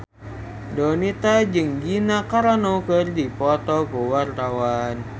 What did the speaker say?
Donita jeung Gina Carano keur dipoto ku wartawan